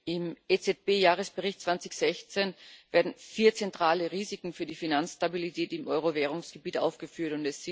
Im EZB Jahresbericht 2016 werden vier zentrale Risiken für die Finanzstabilität im Euro währungsgebiet aufgeführt.